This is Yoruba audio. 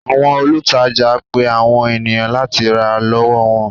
Àwọn olùtajà ń pe àwọn ènìyàn láti rà lọ́wọ́ wọn.